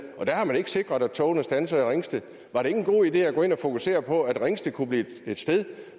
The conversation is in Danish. der har man ikke sikret at togene standser i ringsted var det ikke en god idé at gå ind og fokusere på at ringsted kunne blive et sted